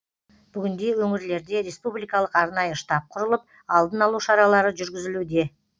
бүгінде өңірлерде республикалық арнайы штаб құрылып алдын алу шаралары жүргізілуде